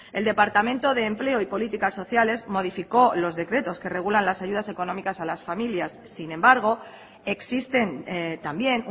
el departamento de empleo y políticas sociales modificó los decretos que regulan las ayudas económicas a las familias sin embargo existen también